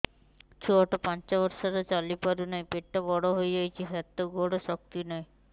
ଛୁଆଟା ପାଞ୍ଚ ବର୍ଷର ଚାଲି ପାରୁ ନାହି ପେଟ ବଡ଼ ହୋଇ ଯାଇଛି ହାତ ଗୋଡ଼ରେ ଶକ୍ତି ନାହିଁ